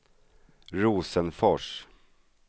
Rosenfors